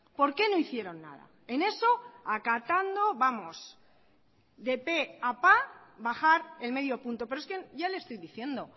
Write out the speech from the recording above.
por qué no hicieron nada en eso acatando vamos de pe a pa bajar el medio punto pero es que ya le estoy diciendo